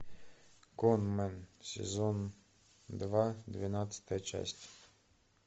конмэн сезон два двенадцатая часть